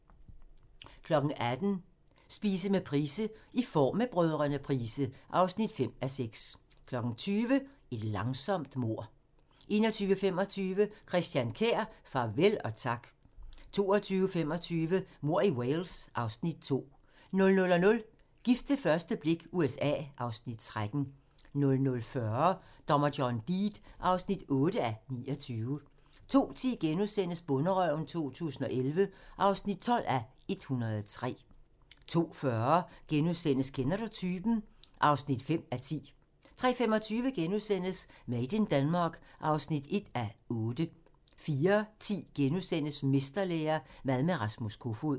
18:00: Spise med Price: "I form med Brdr. Price" (5:6) 20:00: Et langsomt mord 21:25: Christian Kjær – farvel og tak 22:25: Mord i Wales (Afs. 2) 00:00: Gift ved første blik – USA (Afs. 13) 00:40: Dommer John Deed (8:29) 02:10: Bonderøven 2011 (12:103)* 02:40: Kender du typen? (5:10)* 03:25: Made in Denmark (1:8)* 04:10: Mesterlære – mad med Rasmus Kofoed *